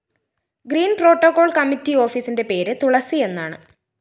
green protocol‍ committee ഓഫീസിന്റെ പേര് തുളസിയെന്നാണ്